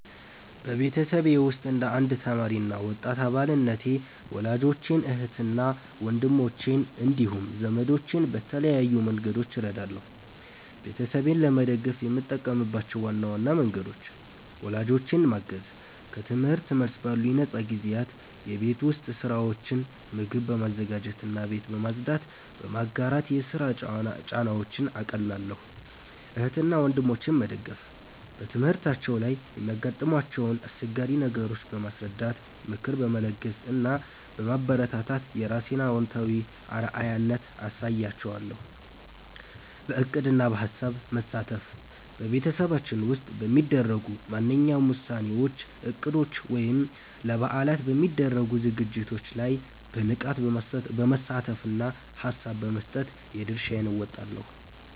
በቤተሰቤ ውስጥ እንደ አንድ ተማሪ እና ወጣት አባልነቴ ወላጆቼን፣ እህትና ወንድሞቼን እንዲሁም ዘመዶቼን በተለያዩ መንገዶች እረዳለሁ። ቤተሰቤን ለመደገፍ የምጠቀምባቸው ዋና ዋና መንገዶች፦ ወላጆቼን ማገዝ፦ ከትምህርት መልስ ባሉኝ ነፃ ጊዜያት የቤት ውስጥ ሥራዎችን (ምግብ በማዘጋጀትና ቤት በማጽዳት) በመጋራት የሥራ ጫናቸውን አቃልላለሁ። እህትና ወንድሞቼን መደገፍ፦ በትምህርታቸው ላይ የሚያጋጥሟቸውን አስቸጋሪ ነገሮች በማስረዳት፣ ምክር በመለገስ እና በማበረታታት የራሴን አዎንታዊ አርአያነት አሳይሻለሁ። በዕቅድና በሐሳብ መሳተፍ፦ በቤተሰባችን ውስጥ በሚደረጉ ማናቸውም ውሳኔዎች፣ እቅዶች ወይም ለበዓላት በሚደረጉ ዝግጅቶች ላይ በንቃት በመሳተፍና ሐሳብ በመስጠት የድርሻዬን እወጣለሁ።